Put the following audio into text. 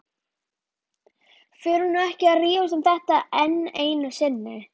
Förum nú ekki að rífast um þetta enn einu sinni.